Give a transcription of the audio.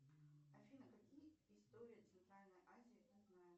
афина какие истории центральной азии ты знаешь